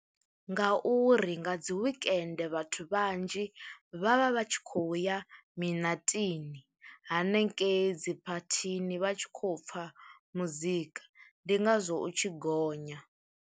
Nga uri nga dzi wekende vhathu vhanzhi vha vha vha tshi khou ya minatini hanengei dzi phathini vha tshi khou pfha muzika ndi ngazwo u tshi gonya,